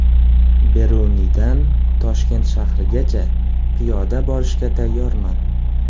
Beruniydan Toshkent shahrigacha piyoda borishga tayyorman.